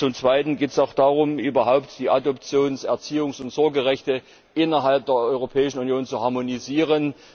Zum Zweiten geht es auch darum, überhaupt die Adoptions Erziehungs und Sorgerechte innerhalb der Europäischen Union zu harmonisieren.